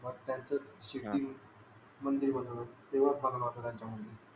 मग त्यांच शिर्डी मध्ये मंदिर बनवल तेवडच चांगल वाटत त्यांच्या मूळे